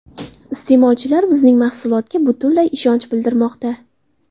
Iste’molchilar bizning mahsulotga butunlay ishonch bildirmoqda”.